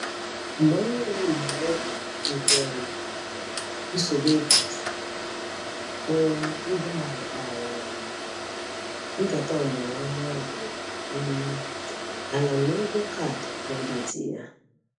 Mgbe ọnwa ole na ole nke um nsogbu ego gasịrị, o iboally kpara um nkata ọmụrụ nwa dị um ala na ụgwọ kaadị kredit ya.